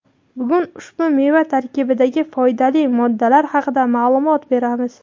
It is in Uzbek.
Bugun ushbu meva tarkibidagi foydali moddalar haqida ma’lumot beramiz.